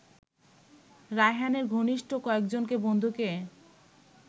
রায়হানের ঘনিষ্ঠ কয়েকজনকে বন্ধুকে